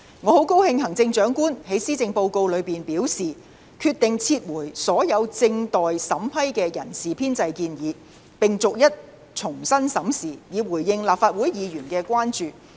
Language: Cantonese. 我很高興行政長官在施政報告中表示，決定撤回所有正待審批的人事編制建議，並逐一重新審視，以回應立法會議員的關注。